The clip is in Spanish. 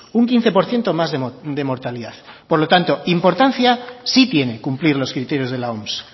un quince por ciento más de mortalidad por lo tanto importancia sí tiene cumplir los criterios de la oms